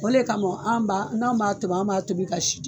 O le kamɔn an b'a n'an b'a toboi an b'a tobi ka